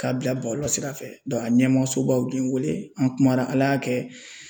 K'a bila bɔlɔlɔ sira fɛ a ɲɛmɔgɔsobaw bɛ n wele an kumana Ala y'a kɛ